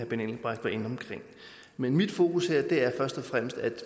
benny engelbrecht var inde omkring mit mit fokus her er først og fremmest at